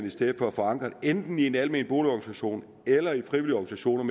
i stedet for forankrede enten i en almen boligorganisation eller i en organisation